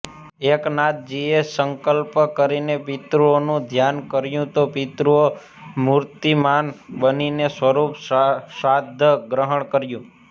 એકનાથજીએ સંકલ્પ કરીને પિતૃઓનું ઘ્યાન કર્યું તો પિતૃઓ મૂર્તિમાન બનીને સ્વયં શ્રાદ્ધ ગ્રહણ કર્યું